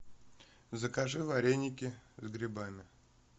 закажи вареники с грибами